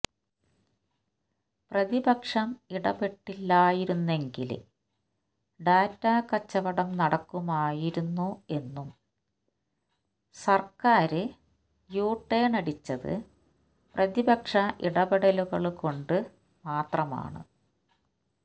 പ്രതിപക്ഷം ഇടപെട്ടില്ലായിരുന്നെങ്കില് ഡാറ്റാ കച്ചവടം നടക്കുമായിരുന്നു എന്നും സര്ക്കാര് യു ടേണ് അടിച്ചത് പ്രതിപക്ഷ ഇടപെടലുകള് കൊണ്ട് മാത്രമാണ്